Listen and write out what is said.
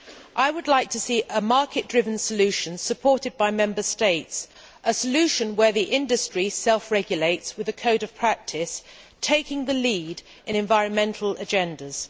I would like to see a market driven solution supported by Member States, a solution where the industry self regulates with a code of practice, taking the lead in environmental agendas.